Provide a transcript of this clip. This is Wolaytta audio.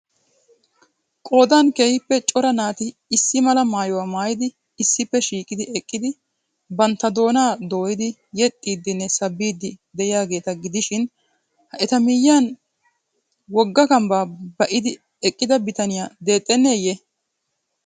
Qoodan keehiippe cora naati issi mala maayuwa maayidi issippe shiiqi eqqidi bantta doonaa dooyidi yexxidinne sabbiidi diyaageeta gidishiin ha eta miyiyan wogga kambbaa ba'idi eqqida bittaniya dexxenneye?